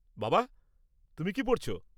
বাবা, তুমি কী পড়ছ?